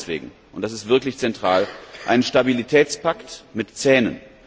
Wir wollen deswegen und das ist wirklich zentral einen Stabilitätspakt mit Zähnen.